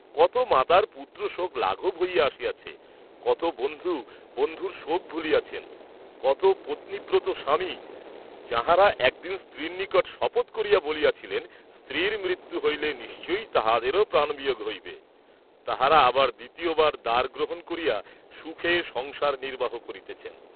কত মাতার পুত্রশোক লাঘব হইয়া আসিয়াছে; কত বন্ধু বন্ধুর শোক ভুলিয়াছেন, কত পত্নীব্রতস্বামী যাঁহারা একদিন স্ত্রীর নিকট শপথ করিয়া বলিয়াছিলেন, স্ত্রীর মৃত্যু হইলে নিশ্চয়ই তাঁহাদেরও প্রাণবিয়োগ হইবে, তাঁহারা আবার দ্বিতীয়বার দারগ্রহণ করিয়া সুখে সংসার নির্ব্বাহ করিতেছেন।